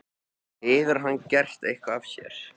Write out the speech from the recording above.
Hefur hann gert eitthvað af sér?